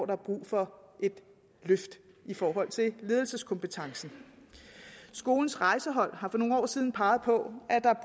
der er brug for et løft i forhold til ledelseskompetencen skolens rejsehold har for nogle år siden peget på at der er